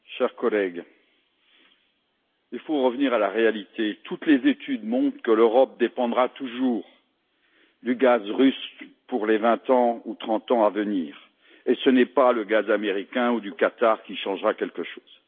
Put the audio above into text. Monsieur le Président, chers collègues, il faut revenir à la réalité. Toutes les études montrent que l'Europe dépendra toujours du gaz russe pour les vingt ou trente ans à venir, et ce n'est pas le gaz américain ou celui du Qatar qui changera quelque chose.